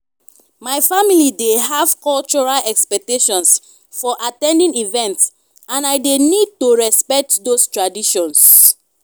my family dey have cultural expectations for at ten ding events and i dey need to respect those traditions.